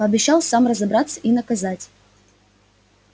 пообещал сам разобраться и наказать